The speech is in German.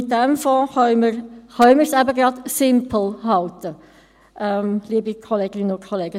Mit diesem Fonds können wir es eben gerade «simple» halten, liebe Kolleginnen und Kollegen.